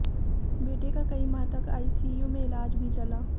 बेटे का कई माह तक आईसीयू में इलाज भी चला